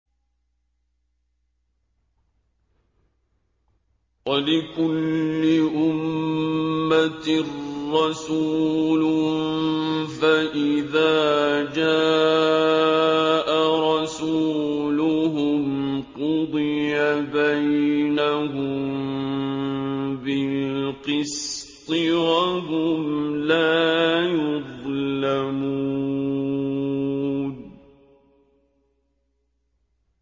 وَلِكُلِّ أُمَّةٍ رَّسُولٌ ۖ فَإِذَا جَاءَ رَسُولُهُمْ قُضِيَ بَيْنَهُم بِالْقِسْطِ وَهُمْ لَا يُظْلَمُونَ